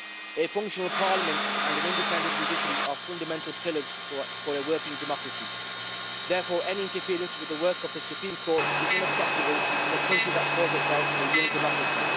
A functional parliament and an independent judiciary are fundamental pillars for a working democracy, therefore any interference with the work of the Supreme Court is unacceptable in a country that calls itself a young democracy.